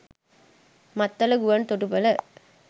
මත්තල ගුවන් තොටුපොල